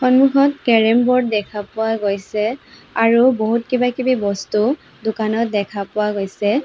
সন্মুখত carrom board দেখা পোৱা গৈছে আৰু বহু কিবা কিবি বস্তু দোকানত দেখা পোৱা গৈছে।